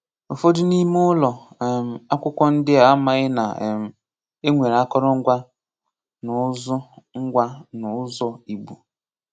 Ụfọdụ n'ime ụlọ um akwụkwọ ndị a amaghị na um e nwere akọrọ ngwa na ụzọ ngwa na ụzọ Igbo